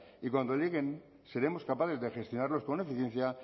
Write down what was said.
y cuando lleguen seremos capaces de gestionarlos con eficiencia